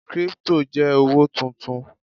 kripto je owo tuntun